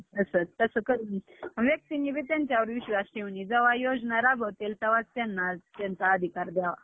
आठ वाजता निघालो, पहाटे अं किती~ अं पहाटे चार का पाचला आम्ही कोल्हापुरात पोहोचलो.